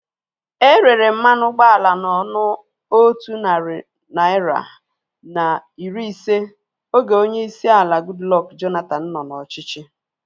Erere mmanụ ụgbọala na ọnụ otu narị naira na iri ise oge onyeisi ala Goodluck Jonathan nọ n'ọchịchị